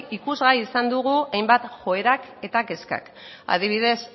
ikusgai izan dugu hainbat joerak eta kezkak adibidez